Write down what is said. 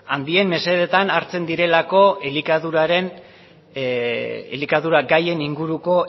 handien mesedetan hartzen direlako elikadura gaien inguruko